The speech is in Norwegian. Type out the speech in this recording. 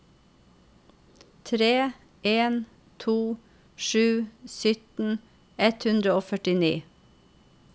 tre en to sju sytten ett hundre og førtini